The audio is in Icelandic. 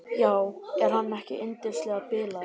Já, er hann ekki yndislega bilaður.